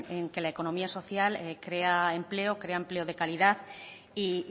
en que la economía social crea empleo crea empleo de calidad y